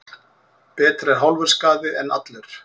Betra er hálfur skaði en allur.